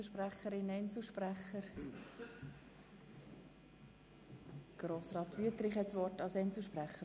Ich erteile das Wort Grossrat Wüthrich als Einzelsprecher.